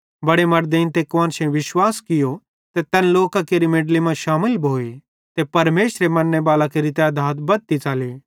बड़े मड़देइं ते कुआन्शेईं विश्वास कियो ते तैन लोकां केरि मेनडली मां शामिल भोए ते परमेशर मन्ने बालां केरि तैधात बद्धती च़ली